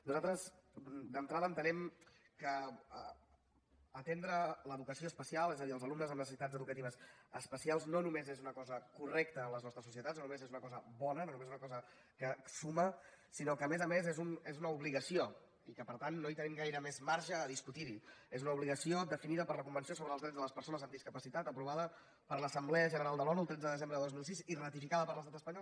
nosaltres d’entrada entenem que atendre l’educació especial és a dir els alumnes amb necessitats educatives especials no només és una cosa correcta en les nostres societats no només és una cosa bona no només és una cosa que suma sinó que a més a més és una obligació i que per tant no hi tenim gaire més marge a discutir és una obligació definida per la convenció sobre els drets de les persones amb discapacitat aprovada per l’assemblea general de l’onu el tretze de desembre de dos mil sis i ratificada per l’estat espanyol